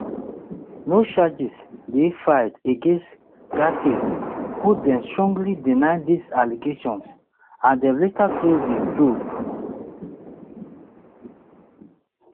no charges dey filed against gaetz who don strongly deny dis allegations and dem later close di probe